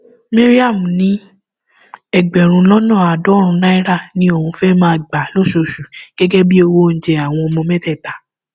mariam ní ẹgbẹrún lọnà àádọrùnún naira ni òun fẹẹ máa gbà lóṣooṣù gẹgẹ bíi owó oúnjẹ àwọn ọmọ mẹtẹẹta